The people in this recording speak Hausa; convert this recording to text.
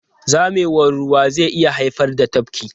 Zamewar ruwa zai iya haifar da tafki.